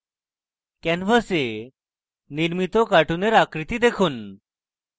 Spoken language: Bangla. canvas নির্মিত cartoon আকৃতি দেখুন